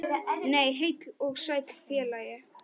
Nei, heill og sæll félagi!